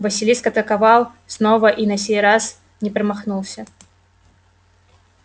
василиск атаковал снова и на сей раз не промахнулся